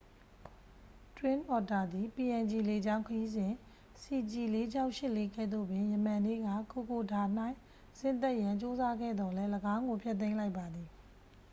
twin otter သည် png လေကြောင်းခရီးစဉ် cg4684 ကဲ့သို့ပင် ယမန်နေ့က kokoda ၌ဆင်းသက်ရန် ကြိုးစားခဲ့သော်လည်း ၎င်းကို ဖျက်သိမ်းလိုက်ပါသည်